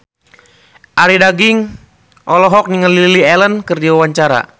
Arie Daginks olohok ningali Lily Allen keur diwawancara